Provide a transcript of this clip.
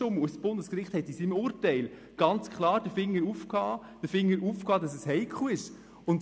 Das Bundesgericht hat in seinem Urteil ganz klar den Finger hochgehalten und gesagt, dass es heikel ist.